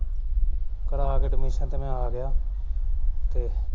ਕਰਵਾ ਕੇ admission ਤੇ ਮੈਂ ਆ ਗਿਆ ਤੇ